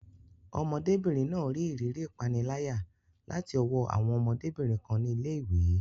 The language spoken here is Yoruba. Ọmọdébìnrin náà rí ìrírí ìpániláyà láti ọwọ́ àwọn ọmọdébìnrin kan ní ilé ìwé.